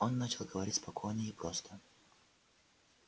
он начал говорить спокойно и просто